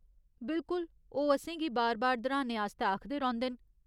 बिल्कुल, ओह् असेंगी बार बार दर्‌हाने आस्तै आखदे रौंह्दे न।